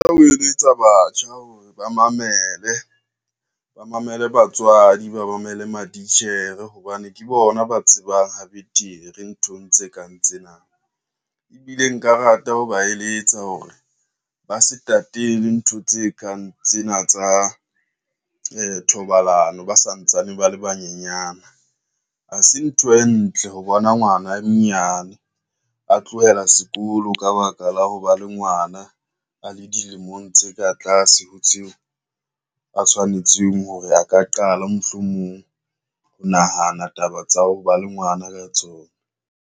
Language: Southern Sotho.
Ho eletsa batjha hore ba mamele, ba mamele batswadi, ba mamele matitjhere hobane ke bona ba tsebang ha betere nthong tse kang tsena, ebile nka rata ho ba eletsa hore ba se tatele ntho tse kang tsena tsa thobalano ba santsane ba le banyenyana. Ha se ntho e ntle ho bona ngwana a monyane a tlohela sekolo, ka baka la ho ba le ngwana a a le dilemong tse ka tlase ho tseo a tshwanetseng hore a ka qala mohlomong ho nahana taba tsa ho ba le ngwana ka tsona.